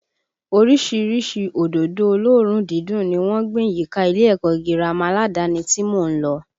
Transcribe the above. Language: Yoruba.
Orísìírísìí òdòdó olóòórùn dídùn ni wọ́n gbìn yíká ilé ẹ̀kọ́ gírámà aládàáni tí mò ń lọ